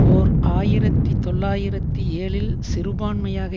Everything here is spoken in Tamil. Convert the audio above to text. ஓர் ஆயிரத்தி தொள்ளாயிரத்தி ஏழில் சிறுபான்மையாக